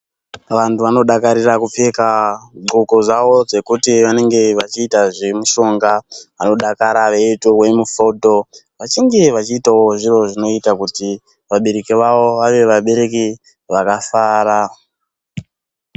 Vantu vanodakarira kupfeka zvidxoko zvavo zvekuti vanenge vechiita zvemishonga. Vanodakara veitorwe mifodho , vachinge veiitawo zviro zvekuti vabereki vavo vave vabereki vakafara.